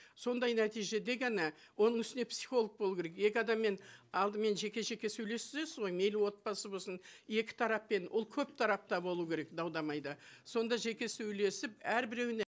сондай нәтижеде ғана оның үстіне психолог болу керек екі адаммен алдымен жеке жеке сөйлесесіз ғой мейлі отбасы болсын екі тараппен ол көп тарап та болу керек дау дамайда сонда жеке сөйлесіп әрбіреуіне